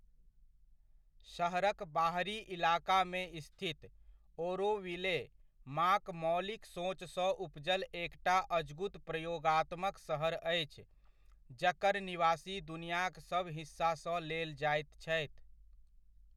सहरक बाहरी इलाकामे स्थित, ओरोविले, माँक मौलिक सोचसँ उपजल एकटा अजगुत प्रयोगात्मक शहर अछि जकर निवासी दुनियाक सभ हिस्सासँ लेल जाइत छथि।